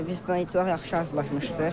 Biz buna heç çox yaxşı hazırlaşmışdıq.